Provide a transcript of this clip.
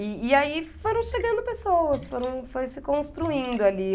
E e aí foram chegando pessoas, foram, foi se construindo ali.